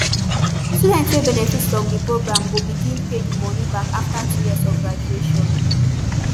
students wey benefit from di program go begin pay di moni back afta two years of graduation